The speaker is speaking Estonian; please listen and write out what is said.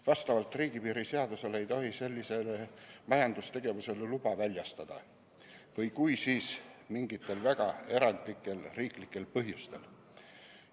Vastavalt riigipiiri seadusele ei tohi sellisele majandustegevusele luba väljastada või kui, siis mingitel väga erandlikel riiklikel põhjustel.